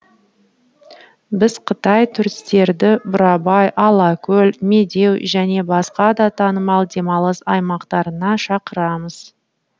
біз қытай туристерді бурабай алакөл медеу және басқа да танымал демалыс аймақтарына шақырамыз